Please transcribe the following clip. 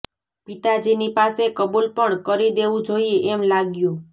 પિતાજીની પાસે કબૂલ પણ કરી દેવું જોઇએ એમ લાગ્યું